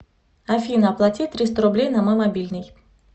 афина оплати триста рублей на мой мобильный